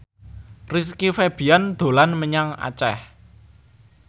Rizky Febian dolan menyang Aceh